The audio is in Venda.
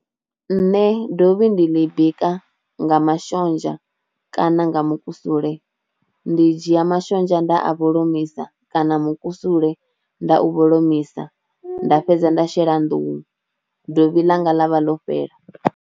Nṋe dovhi ndi ḽi bika nga mashonzha kana nga mukusule, ndi dzhia mashonzha nda a vholomisa kana mukusule nda u vholomisa nda fhedza nda shela nḓuhu dovhi ḽa nga ḽa vha ḽo fhela.